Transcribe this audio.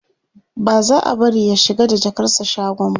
ba za'a bari ya shiga da jakarsa shagon ba